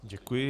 Děkuji.